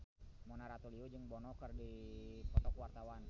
Mona Ratuliu jeung Bono keur dipoto ku wartawan